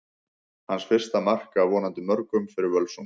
Hans fyrsta mark, af vonandi mörgum, fyrir Völsung!